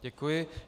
Děkuji.